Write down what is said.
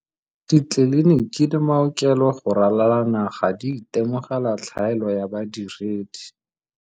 Ditleliniki le maokelo go ralala naga di itemogela tlhaelo ya badiredi.